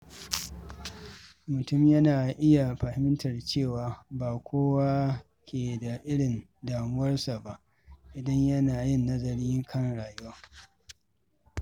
Mutum yana iya fahimtar cewa ba kowa ke da irin damuwarsa ba idan yana yin nazari kan rayuwa.